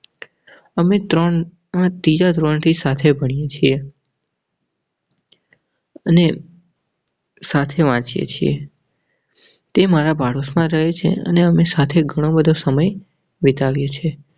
અમે ત્રણ હા તીજા ધોરણ થી સાથે ભણીએ છીએ. અને સાથે વાંચીએ છીએ. તે મારા પાડોશમાં રહે છે અને સાથે ઘણો સમય વિતાવ્યો છે.